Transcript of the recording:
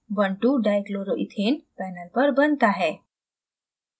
12dichloroethane panel पर बनता है